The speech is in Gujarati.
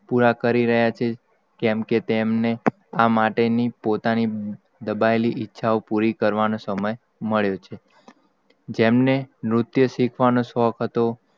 પુરી કરી રહયા છે કેમ. કે તેમણે આ માટે ની પોતાની દબાયેલી ઈચ્છા, ઓ પુરી કરવાનો સમય મળ્યો છે. જેમને નનુર્તસિખવાનો શોક હતો,